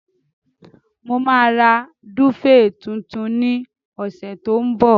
Màá ra dúféè tuntun ní ọ̀sẹ̀ tó ń bọ̀.